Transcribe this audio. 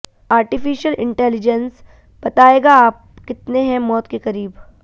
artificial intelligence बताएगा आप कितने हैं मौत के करीब